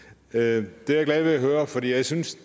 det er jeg glad ved at høre for jeg synes